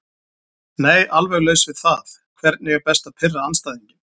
Nei alveg laus við það Hvernig er best að pirra andstæðinginn?